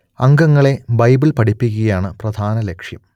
അംഗങ്ങളെ ബൈബിൾ പഠിപ്പിക്കുകയാണ് പ്രധാന ലക്ഷ്യം